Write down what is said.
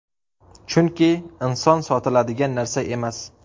Chunki inson sotiladigan narsa emas.